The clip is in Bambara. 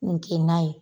Nin kin na ye